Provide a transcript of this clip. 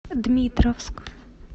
дмитровск